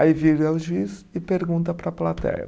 Aí vira o juiz e pergunta para a plateia.